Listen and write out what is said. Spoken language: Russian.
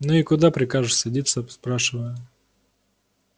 ну и куда прикажешь садиться спрашиваю